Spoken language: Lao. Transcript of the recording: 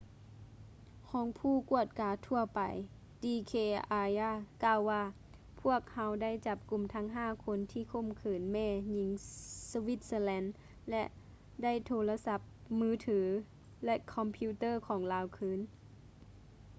ຮອງຜູ້ກວດກາທົ່ວໄປ d k arya ກ່າວວ່າ ພວກເຮົາໄດ້ຈັບກຸມທັງຫ້າຄົນທີ່ຂົ່ມຂືນແມ່ຍິງສະວິດເຊີແລນ ແລະ ໄດ້ໂທລະສັບມືຖື ແລະ ຄອມພິວເຕີຂອງລາວຄືນ